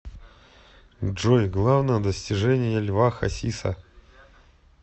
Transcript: джой главное достижение льва хасиса